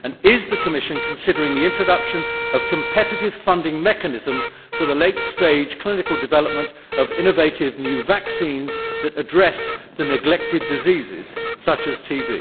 Is the Commission considering the introduction of competitive funding mechanisms for the late stage clinical development of innovative new vaccines that address the neglected diseases, such as TB?